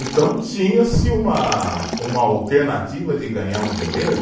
Então tinha-se uma, uma alternativa de ganhar um dinheiro